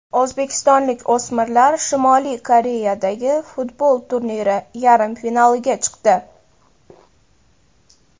O‘zbekistonlik o‘smirlar Shimoliy Koreyadagi futbol turniri yarim finaliga chiqdi.